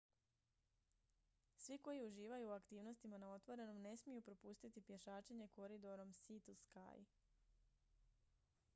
svi koji uživaju u aktivnostima na otvorenom ne smiju propustiti pješačenje koridorom sea to sky